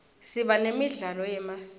siba nemidlalo yemasiko